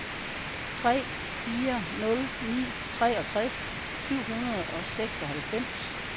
tre fire nul ni treogtres syv hundrede og seksoghalvfems